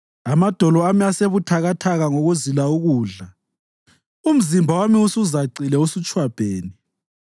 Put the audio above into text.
Amadolo ami asebuthakathaka ngokuzila ukudla; umzimba wami usuzacile usutshwabhene.